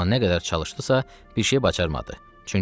Amma nə qədər çalışdısa, bir şey bacarmadı.